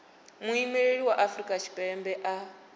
muimeli wa afrika tshipembe a